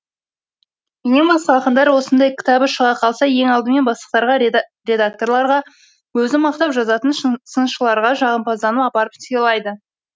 менен басқа ақындар осындай кітабы шыға қалса ең алдымен бастықтарға редакторларға өзін мақтап жазатын сыншыларға жағымпазданып апарып сыйлайды